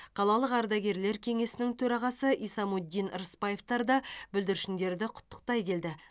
қалалық ардагерлер кеңесінің төрағасы исамуддин рысбаевтар да бүлдіршіндерді құттықтай келді